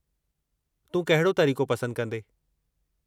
तूं कहिड़ो तरीक़ो पसंदि कंदें?